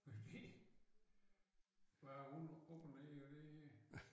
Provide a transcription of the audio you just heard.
Hvad det hvad er op og ned på det her